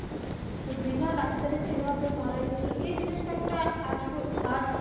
তো বিনা ডাক্তারে check up এ মারা গেছিলো এই জিনিসটা একটা আজ পর্যন্ত আজ.